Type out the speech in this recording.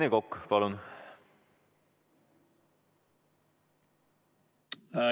Rene Kokk, palun!